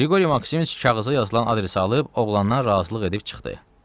Qriqori Maksimiç kağıza yazılan adresi alıb oğlanla razılıq edib çıxdı.